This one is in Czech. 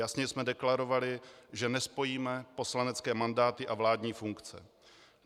Jasně jsme deklarovali, že nespojíme poslanecké mandáty a vládní funkce.